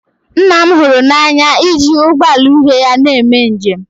nna m hụrụ n'anya iji ụgbọ ala uhie ya na-eme njem